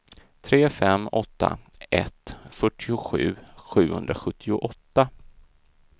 tre fem åtta ett fyrtiosju sjuhundrasjuttioåtta